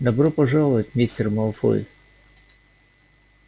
добро пожаловать мистер малфой